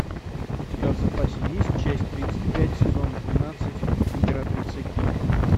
у тебя в запасе есть часть тридцать пять сезон двенадцать императрица ки